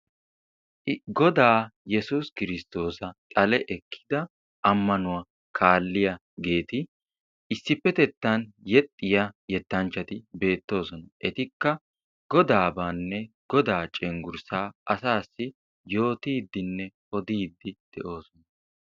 Goda yesuussi Kristoossa xale ekkida ammanuwaa kaaliyaageeti issipetettan yeexxiya yetanchchati beettoosona. etikka Godabanne Goda cenggurssa asassi yootidenne odidde de'oosona.